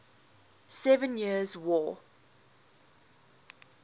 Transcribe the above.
seven years war